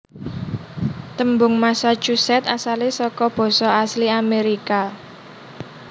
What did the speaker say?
Tembung Massachusetts asalé saka basa asli Amérika